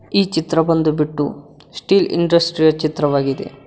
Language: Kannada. ಈ ಚಿತ್ರ ಬಂದು ಬಿಟ್ಟು ಸ್ಟೀಲ್ ಇಂಡಸ್ಟ್ರಿ ಯ ಚಿತ್ರವಾಗಿದೆ.